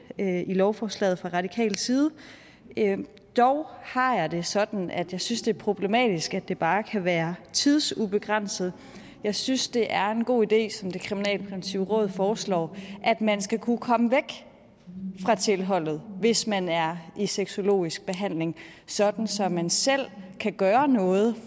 af lovforslaget fra radikal side dog har jeg det sådan at jeg synes det er problematisk at det bare kan være tidsubegrænset jeg synes det er en god idé som det kriminalpræventive råd foreslår at man skal kunne komme væk fra tilholdet hvis man er i sexologisk behandling sådan at man selv kan gøre noget